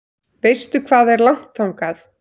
Veistu hvað er langt þangað?